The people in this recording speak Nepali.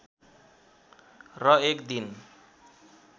र एक दिन